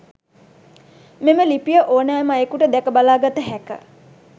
මෙම ලිපිය ඕනෑම අයෙකුට දැක බලා ගත හැක.